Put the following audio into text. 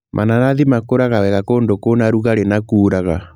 Mananathi makũraga wega kũndũ kwĩna rugarĩ na kuuraga.